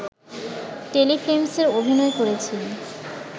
টেলিফিল্মসে অভিনয় করেছি